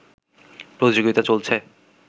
প্রতিযোগিতা চলছে